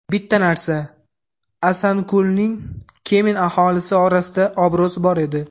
Bitta narsa – Asankulning Kemin aholisi orasida obro‘si bor edi.